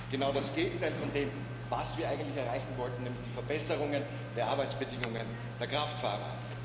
Wir erreichen genau das Gegenteil von dem, was wir eigentlich erreichen wollten, nämlich die Verbesserungen der Arbeitsbedingungen der Kraftfahrer.